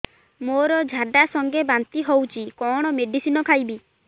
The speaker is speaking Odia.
ମୋର ଝାଡା ସଂଗେ ବାନ୍ତି ହଉଚି କଣ ମେଡିସିନ ଖାଇବି